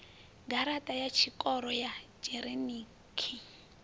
garaṱa ya tshikoro ya dzhinerikhi